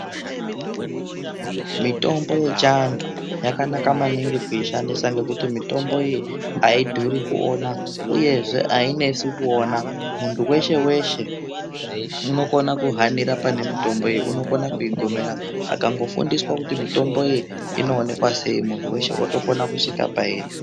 Mitombo yechiantu yakanaka maningi kuishandisa ngekuti mitombo iyi haidhuri kuona, uyezve hainesi kuona. Muntu veshe-veshe unokona kuhanira pane mitombo iyi unokona kuigomera akangofundiswa kuti mitombo iyi inoonekwa sei muntu veshe votokona kusvika pairi.